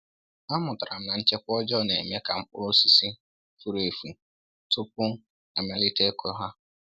Amụtara m na nchekwa ọjọọ na-eme ka mkpụrụ osisi furu efu tupu e malite ịkụ ha.